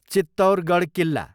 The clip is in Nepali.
चित्तौरगढ किल्ला